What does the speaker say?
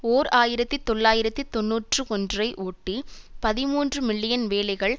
ஓர் ஆயிரத்தி தொள்ளாயிரத்து தொன்னூற்றி ஒன்று ஐ ஓட்டி பதிமூன்று மில்லியன் வேலைகள்